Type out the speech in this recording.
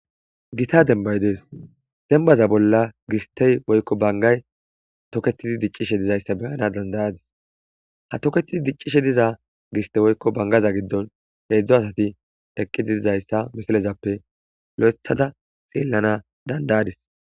Gita denbay dees dembaza bolla gistey woykko bangay toketidi diccishe dizayssa beyana dandayadis ha toketidi diccishe diza giste woykko bangaza giddon heedzdzo asati eqqidi dizayssa misilezappe lo'ethada xeellana dandayadis.